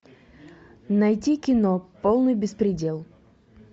найти кино полный беспредел